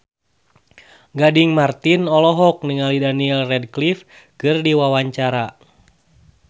Gading Marten olohok ningali Daniel Radcliffe keur diwawancara